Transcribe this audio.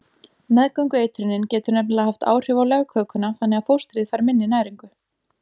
Meðgöngueitrunin getur nefnilega haft áhrif á legkökuna þannig að fóstrið fær minni næringu.